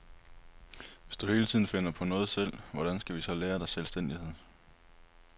Hvis du hele tiden finder på noget selv, hvordan skal vi så lære dig selvstændighed?